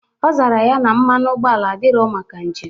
Ọ zara ya na mmanụ ụgbọala adirọ maka njem.